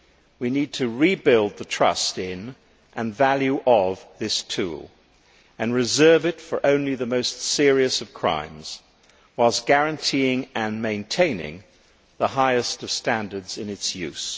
We need to rebuild the trust in, and value of, this tool and reserve it for only the most serious of crimes, whilst guaranteeing and maintaining the highest of standards in its use.